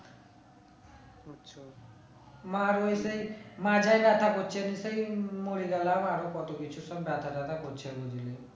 মার ওই সেই মাথায় ব্যাথা করছে সেই নিয়ে মরে গেলাম আরো কত কিছু সব ব্যাথা ট্যাথা করছে বুঝলি